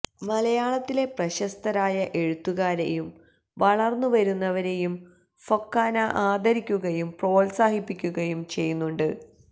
മലയാളത്തിലെ പ്രശസ്തരായ എഴുത്തുകാരേയും വളര്ന്നു വരുന്നവരേയും ഫൊക്കാന ആദരിക്കുകയും പ്രോത്സാഹിപ്പിക്കുയും ചെയ്യുന്നുണ്ട്